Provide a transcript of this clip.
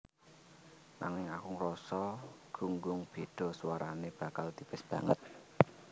Nanging aku ngrasa gunggung béda swarané bakal tipis banget